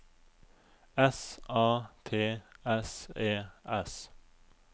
S A T S E S